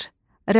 Rəvac.